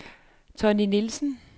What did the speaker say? Tonny Nielsen